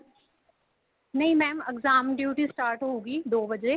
ਨਹੀਂ mam exam duty start ਹੋਗੀ ਦੋ ਵਜ਼ੇ